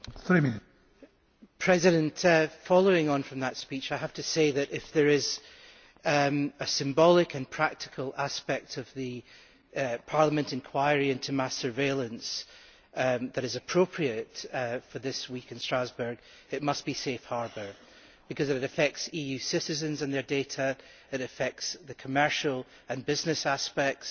Mr President, following on from that speech, I have to say that, if there is a symbolic and practical aspect of the Parliament inquiry into mass surveillance that is appropriate for this week in Strasbourg, it must be Safe Harbour, because it affects EU citizens and their data and it affects the commercial and business aspects.